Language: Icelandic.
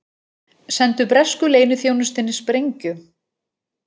Sendu bresku leyniþjónustunni sprengju